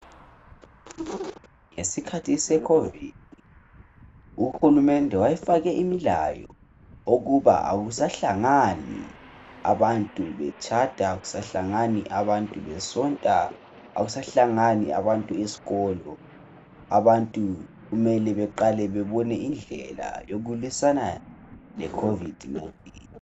Ngesikhathi seCovid, uhulumende wayefake imilayo. Ukuba kakusahlangani abantu betshada. Akusahlangani abantu besonta. Akusahlangani abantu esikolo. Abantu kumele beqale bebone indlela, yokulwisana leCovid 19.